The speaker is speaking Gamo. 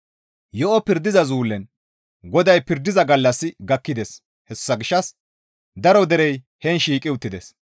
Yo7o pirdiza zullen GODAY pirdiza gallassi gakkides; hessa gishshas daro derey heen shiiqi uttides.